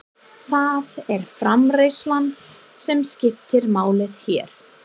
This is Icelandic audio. Það er framreiðslan sem skiptir máli hér.